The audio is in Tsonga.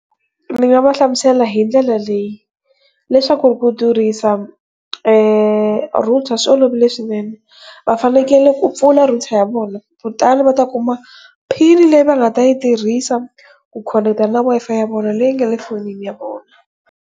Ni nga va hlamusela hindlela leyi leswaku ku tirhisa eeh, router swi olovile swinene va fanekele ku pfula router ya vona kutani va ta ku kuma pin leyi va nga ta yi tirhisa ku khonekitana na Wi-Fi ya vona leyi yi nge le fonini ya vona.